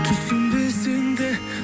түсінбесең де